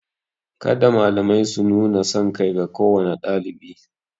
Kada malamai su nuna sankai ga kowane ɗalibi.